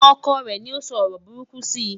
ọkọ rè ní o sọ ọrọ buruku si